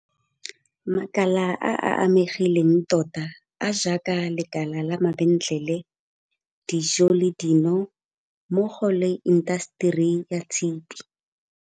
Makala a a amegi leng tota a a jaaka lekala la mabentlele, dijo le dino mmogo le intaseteri ya tshipi.